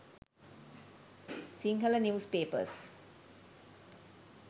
sinhala news papers